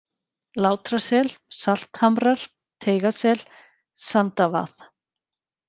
Látrasel, Salthamrar, Teigasel, Sandavað